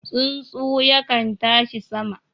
Tsuntsu yakan tashi sama